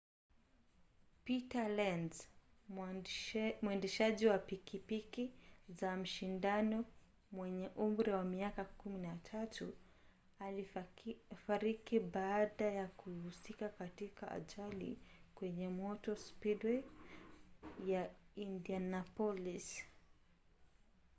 peter lenz mwendeshaji wa pikipiki za mashindano mwenye umri wa miaka 13 alifariki baada ya kuhusika katika ajali kwenye motor speedway ya indianapolis